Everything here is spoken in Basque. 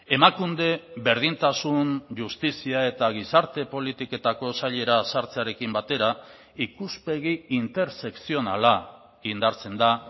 emakunde berdintasun justizia eta gizarte politiketako sailera sartzearekin batera ikuspegi intersekzionala indartzen da